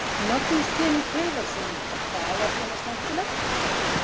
Magnús Hlynur Hreiðarsson: Og hvað var svona skemmtilegt?